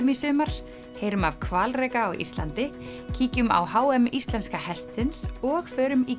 í sumar heyrum af hvalreka á Íslandi kíkjum á h m íslenska hestsins og förum í